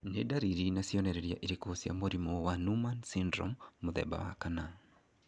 Nĩ dariri na cionereria irĩkũ cia mũrimũ wa Noonan syndrome 4?